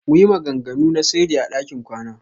Muyi maganganu na sirri a ɗakin kwana.